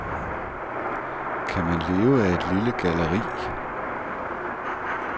Kan man leve af et lille galleri?